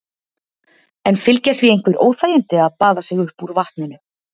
En fylgja því einhver óþægindi að baða sig upp úr vatninu?